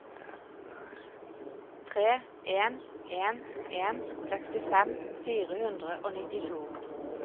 tre en en en sekstifem fire hundre og nittito